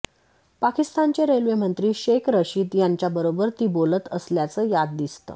पाकिस्तानचे रेल्वेमंत्री शेख रशीद यांच्याबरोबर ती बोलत असल्याचं यात दिसतं